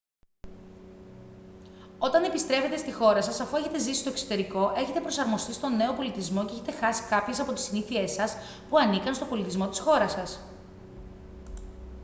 όταν επιστρέφετε στη χώρα σας αφού έχετε ζήσει στο εξωτερικό έχετε προσαρμοστεί στον νέο πολιτισμό και έχετε χάσει κάποιες από τις συνήθειές σας που ανήκαν στον πολιτισμό της χώρας σας